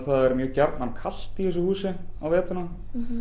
það er mjög gjarnan kalt í þessu húsi á veturna